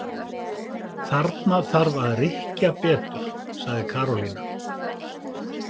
Þarna þarf að rykkja betur sagði Karólína.